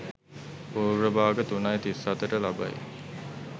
පූර්ව භාග 03.37 ට ලබයි.